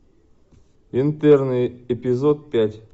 интерны эпизод пять